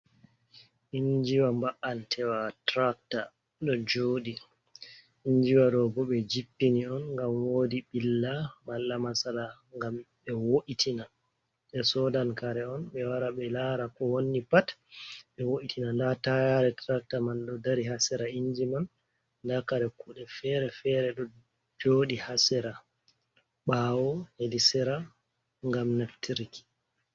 Injiwa ba’antewa turakta ɗo joɗi. injiwa ɗobe jippini on ngam woɗi billa. malla masala ngam ɓe wo’itina. Be soɗan kare on be wara be lara ko wonni pat be wo’itina. Ɗa tayare turacta man ɗo dari ha sera inji man. Ɗa kare kuɗe fere-fere ɗo joɗi ha sera ɓawo heɗi sera ngam neftirki.